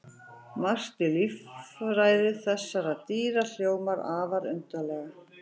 Margt í líffræði þessara dýra hljómar afar undarlega.